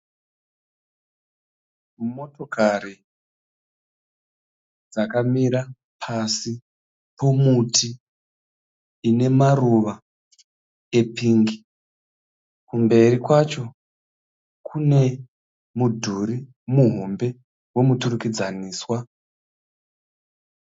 Motokari dzakamira pasi pomuti unemaruva epingi . Kumberi kwacho kune mudhuri muhombe wemuturikidzaniswa.